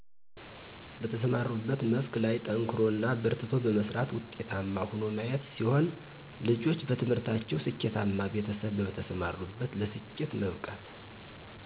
በተሰማሩበት መስክ ላይ ጠንክሮ እና በርትቶ በመስራት ውጤታማ ሆኖ ማየት ሲሆን ልጆች በትምህርታቸው ስኬተማ ቤተሰብ በተሰማሩበት ለስኬት መብቃት